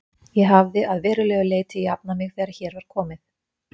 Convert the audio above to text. Ég hafði að verulegu leyti jafnað mig þegar hér var komið.